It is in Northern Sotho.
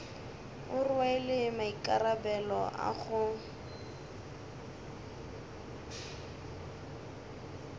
o rwele maikarabelo a go